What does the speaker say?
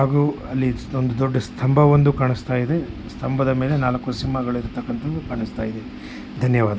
ಹಾಗೂ ಅಲ್ಲಿ ಒಂದು ದೊಡ್ಡ ಸ್ತಂಭ ಒಂದು ಕಾಣಿಸ್ತಾ ಇದೆ ಸ್ತಂಭದ ಮೇಲೆ ನಾಲ್ಕು ಸಿಂಹಗಳು ಇರುವಂತದ್ದು ಕಾಣಿಸ್ತಾ ಇದೆ. ಧನ್ಯವಾದ.